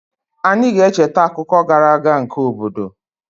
Anyị ga-echeta akụkọ gara aga nke obodo